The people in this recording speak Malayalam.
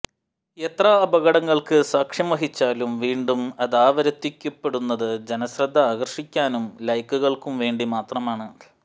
എത്ര അപകടങ്ങള്ക്ക് സാക്ഷ്യം വഹിച്ചാലും വീണ്ടും അതാവര്ത്തിക്കപ്പെടുന്നത് ജനശ്രദ്ധ ആകര്ഷിക്കാനും ലൈക്കുകള്ക്കു വേണ്ടി മാത്രമാണ്